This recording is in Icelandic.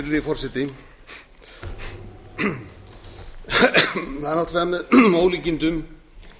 virðulegi forseti það er náttúrlega með ólíkindum